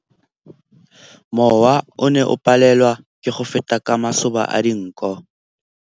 Mowa o ne o palelwa ke go feta ka masoba a dinko.